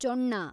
ಚೊಣ್ಣ